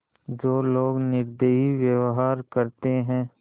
जो लोग निर्दयी व्यवहार करते हैं